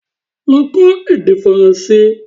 Lọ kọ́ èdè Faranse!